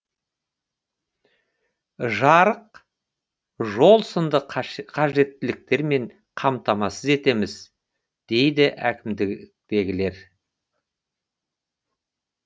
жарық жол сынды қажеттіліктермен қамтамасыз етеміз дейді әкімдікітегілер